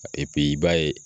Epi i b'a ye